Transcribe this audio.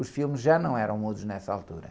Os filmes já não eram mudos nessa altura.